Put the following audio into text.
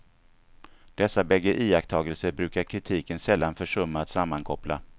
Dessa bägge iakttagelser brukar kritiken sällan försumma att sammankoppla.